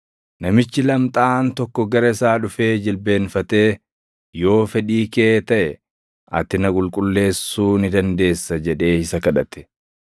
Namichi lamxaaʼaan tokko gara isaa dhufee jilbeenfatee, “Yoo fedhii kee taʼe, ati na qulqulleessuu ni dandeessa” jedhee isa kadhate.